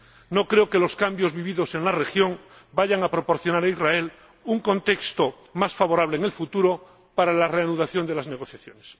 No creo que los cambios vividos en la región vayan a proporcionar a Israel un contexto más favorable en el futuro para la reanudación de las negociaciones.